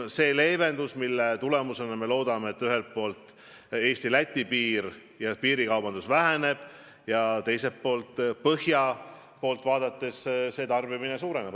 Selle sammu tulemusena me loodame, et ühelt poolt Eesti-Läti piiril kaubandus väheneb ja teiselt poolt põhjanaabrite tarbimine suureneb.